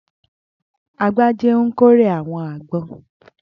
Agbájé ń kórè àwọn àgbon.